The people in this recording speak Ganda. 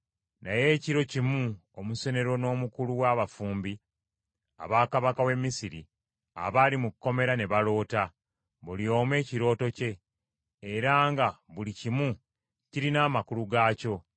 Naye ekiro kimu omusenero n’omukulu wa bafumbi aba kabaka w’e Misiri abaali mu kkomera ne baloota, buli omu ekirooto kye, era nga buli kimu kirina amakulu gaakyo.